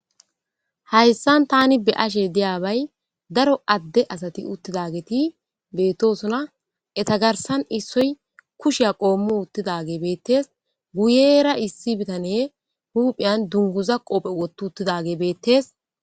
Hayssan tani be'ashe deyabay daro adde asati uttidageti beettosona eta garsan issoy kushiya qoommu uttidage beettees guyeera issi bitane huuphiyan dunguza qoophe wottu uttidage beettees.